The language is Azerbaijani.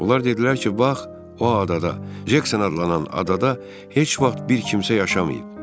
Onlar dedilər ki, bax, o adada, Cekson adlanan adada heç vaxt bir kimsə yaşamayıb.